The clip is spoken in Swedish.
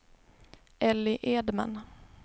Elly Edman